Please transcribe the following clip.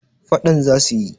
fadan za su yi